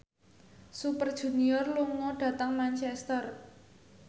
Super Junior lunga dhateng Manchester